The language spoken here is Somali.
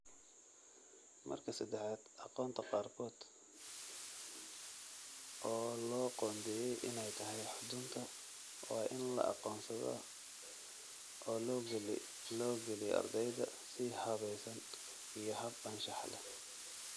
Marka saddexaad, aqoonta qaarkood, oo loo qoondeeyey inay tahay xudunta, waa in la aqoonsadaa oo loo geliyo ardayda si habaysan iyo hab anshax leh.